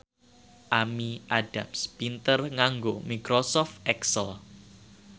Amy Adams pinter nganggo microsoft excel